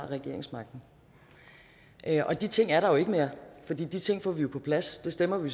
regeringsmagten og de ting er der jo ikke mere for de ting får vi på plads det stemmer vi